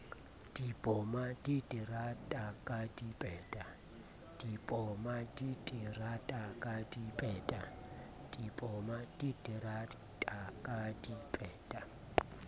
di poma diterata ka dipeta